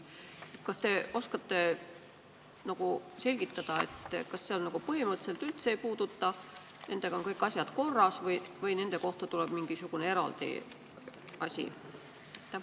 Kas te oskate selgitada, kas see põhimõtteliselt üldse neid ei puuduta, sest nendega on kõik asjad korras, või tuleb nende kohta mingisugune eraldi asi?